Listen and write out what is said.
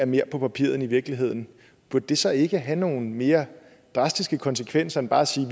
mere er på papiret end i virkeligheden burde det så ikke have nogle mere drastiske konsekvenser end bare at sige